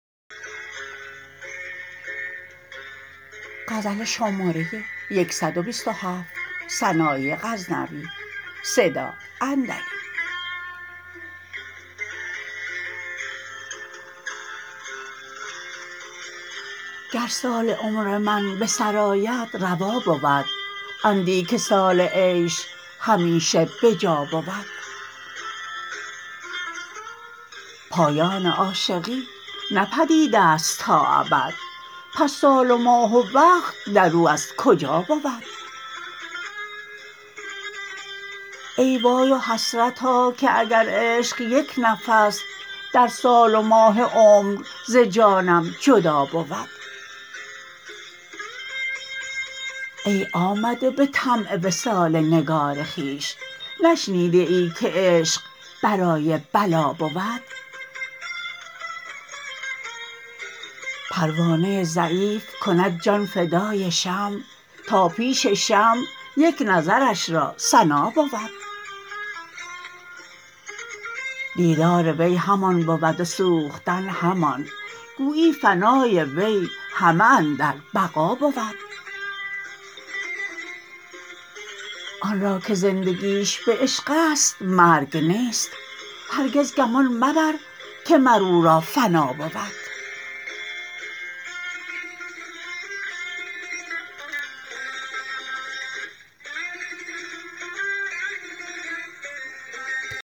گر سال عمر من به سر آید روا بود اندیکه سال عیش همیشه به جا بود پایان عاشقی نه پدیدست تا ابد پس سال و ماه و وقت در او از کجا بود ای وای و حسرتا که اگر عشق یک نفس در سال و ماه عمر ز جانم جدا بود ای آمده به طمع وصال نگار خویش نشنیده ای که عشق برای بلا بود پروانه ضعیف کند جان فدای شمع تا پیش شمع یک نظرش را سنا بود دیدار وی همان بود و سوختن همان گویی فنای وی همه اندر بقا بود آن را که زندگیش به عشق ست مرگ نیست هرگز گمان مبر که مر او را فنا بود